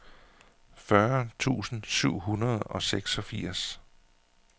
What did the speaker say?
fyrre tusind syv hundrede og seksogfirs